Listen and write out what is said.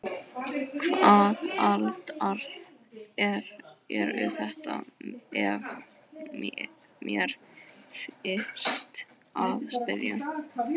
Hvaða aðilar eru þetta ef mér leyfist að spyrja?